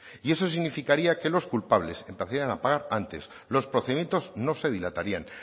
y eso significaría que los culpables empezarían a pagar antes los procedimientos no se dilatarían